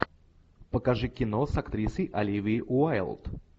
покажи кино с актрисой оливией уайлд